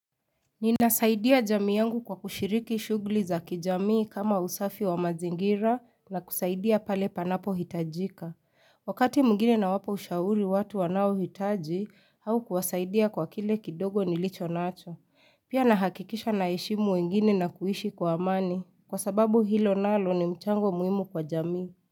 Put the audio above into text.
Ninasaidia jamii yangu kwa kushiriki shughuli za kijamii kama usafi wa mazingira na kusaidia pale panapohitajika. Wakati mwigine nawapa ushauri watu wanaohitaji au kuwasaidia kwa kile kidogo nilicho nacho. Pia nahakikisha naheshimu wengine na kuishi kwa amani kwa sababu hilo nalo ni mchango muhimu kwa jamii.